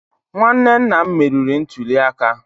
nwanne nna m meriri ntuli aka.